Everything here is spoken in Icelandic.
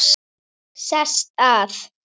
Sest að.